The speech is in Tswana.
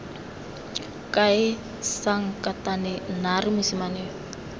kae sankatane naare mosimane yo